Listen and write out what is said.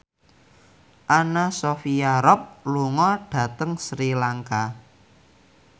Anna Sophia Robb lunga dhateng Sri Lanka